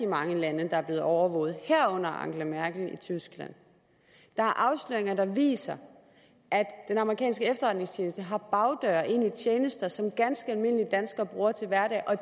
mange lande der er blevet overvåget herunder angela merkel i tyskland der er afsløringer der viser at den amerikanske efterretningstjeneste har bagdøre ind i tjenester som ganske almindelige danskere bruger til hverdag og